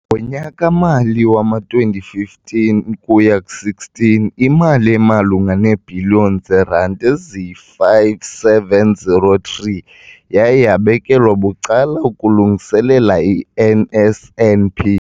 Ngonyaka-mali wama-2015 ukuya ku16, imali emalunga neebhiliyoni zeerandi eziyi-5 703 yaye yabekelwa bucala ukulungiselela i-NSNP.